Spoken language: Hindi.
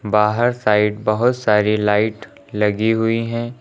बाहर साइड बहोत सारी लाइट लगी हुई है।